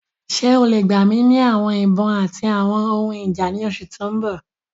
Ṣe o le gba mi ni awọn ibon ati awọn ohun ija ni oṣu ti n bọ?